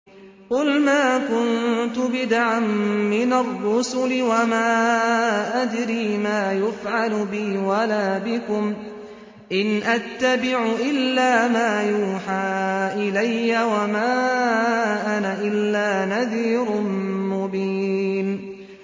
قُلْ مَا كُنتُ بِدْعًا مِّنَ الرُّسُلِ وَمَا أَدْرِي مَا يُفْعَلُ بِي وَلَا بِكُمْ ۖ إِنْ أَتَّبِعُ إِلَّا مَا يُوحَىٰ إِلَيَّ وَمَا أَنَا إِلَّا نَذِيرٌ مُّبِينٌ